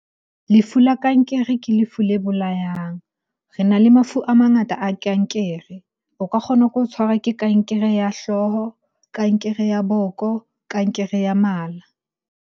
Lefu la kankere ke lefu le bolayang. Re na le mafu a mangata a kankere. O ka kgona ke ho tshwarwa ke kankere ya hlooho, kankere ya boko, kankere ya mala.